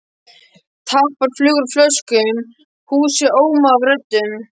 Tappar flugu úr flöskum, húsið ómaði af röddum.